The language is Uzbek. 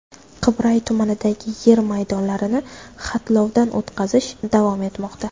Qibray tumanidagi yer maydonlarni xatlovdan o‘tkazish davom etmoqda.